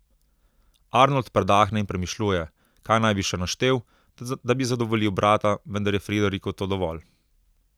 Arnold predahne in premišljuje, kaj naj bi še naštel, da bi zadovoljil brata, vendar je Frideriku to dovolj.